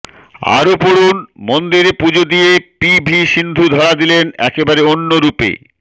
আরও পড়ুন মন্দিরে পুজো দিয়ে পি ভি সিন্ধু ধরা দিলেন একেবারে অন্য রূপে